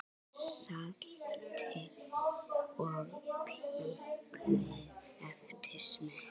Saltið og piprið eftir smekk.